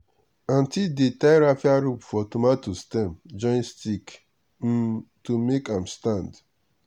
aunty dey tie raffia rope for tomato stem join stick um to make am stand.